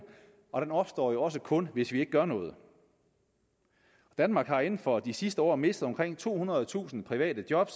og den opstår jo også kun hvis vi ikke gør noget danmark har inden for de sidste år mistet omkring tohundredetusind private job